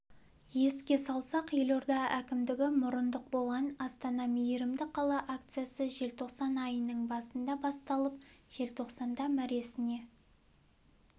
еске салсақ елорда әкімдігі мұрындық болған астана мейірімді қала акциясы желтоқсан айының басында басталып желтоқсанда мәресіне